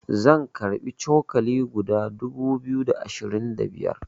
zan karbi cokali guda dubu biyu da ashirin da biyar